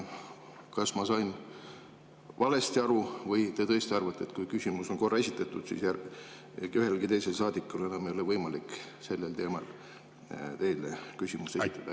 Kas ma sain valesti aru või te tõesti arvate, et kui küsimus on korra esitatud, siis ühelgi teisel saadikul enam ei ole võimalik sellel teemal teile küsimusi esitada?